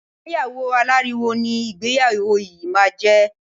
Ìgbéyàwó aláriwo ni ìgbéyàwó yìí máa jẹ.